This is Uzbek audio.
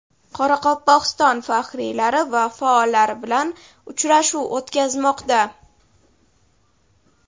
Qoraqalpog‘iston faxriylari va faollari bilan uchrashuv o‘tkazmoqda.